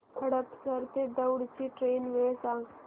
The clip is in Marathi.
हडपसर ते दौंड ची ट्रेन वेळ सांग